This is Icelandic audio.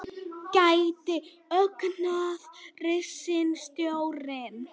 Gæti ógnað ríkisstjórninni